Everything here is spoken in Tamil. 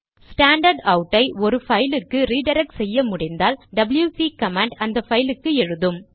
ஸ்டாண்டர்ட்அவுட் ஐ ஒரு பைலுக்கு ரிடிரக்ட் செய்ய முடிந்தால் டபில்யுசி கமாண்ட் அந்த பைலுக்கு எழுதும்